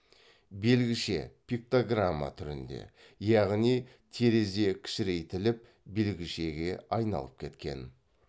белгіше пиктограмма түрінде яғни терезе кішірейтіліп белгішеге айналып кеткен